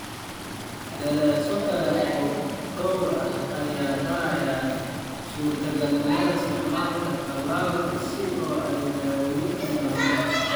Daraasado kale oo dhowr ah ayaa baaraya suurtagalnimada isticmaalka tallaalka si loo daaweeyo melanoma.